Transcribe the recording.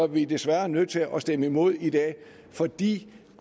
vi desværre nødt til at stemme imod i dag fordi